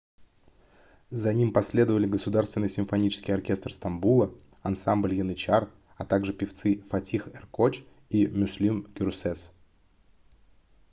за ним последовали государственный симфонический оркестр стамбула ансамбль янычар а также певцы фатих эркоч и мюслюм гюрсес